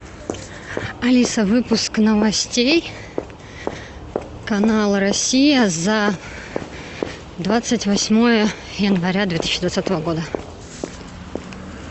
алиса выпуск новостей канал россия за двадцать восьмое января две тысячи двадцатого года